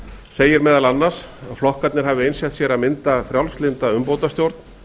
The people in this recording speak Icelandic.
segir meðal annars að flokkarnir hafi einsett sér að mynda frjálslynda umbótastjórn